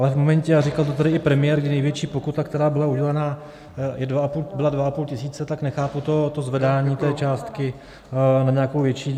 Ale v momentě, a říkal to tady i premiér, kdy největší pokuta, která byla udělena, byla dva a půl tisíce, tak nechápu to zvedání té částky na nějakou větší.